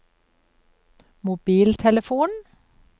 mobiltelefon